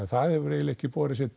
það hefur eignilega ekki borið sitt